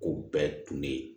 Ko bɛɛ tun bɛ